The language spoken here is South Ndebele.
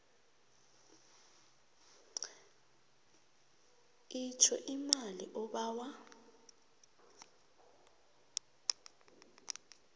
itjho imali obawa